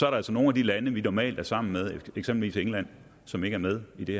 er altså nogle af de lande vi normalt er sammen med eksempelvis england som ikke er med i det